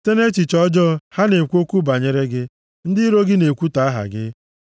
Site nʼechiche ọjọọ, ha na-ekwu okwu banyere gị; ndị iro gị na-ekwutọ aha gị.